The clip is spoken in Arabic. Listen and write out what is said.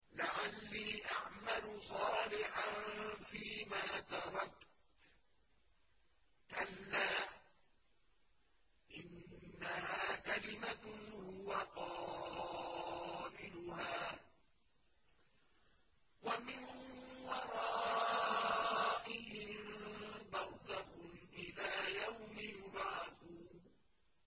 لَعَلِّي أَعْمَلُ صَالِحًا فِيمَا تَرَكْتُ ۚ كَلَّا ۚ إِنَّهَا كَلِمَةٌ هُوَ قَائِلُهَا ۖ وَمِن وَرَائِهِم بَرْزَخٌ إِلَىٰ يَوْمِ يُبْعَثُونَ